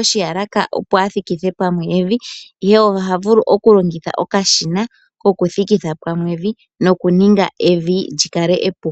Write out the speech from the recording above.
oshiyalaka opo a thikithe pamwe evi, ihe oha vulu oku kutha okashina ko ku thikitha pamwe evi, lyo lyininge epu.